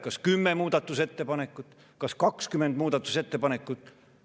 Kas 10 muudatusettepanekut, kas 20 muudatusettepanekut?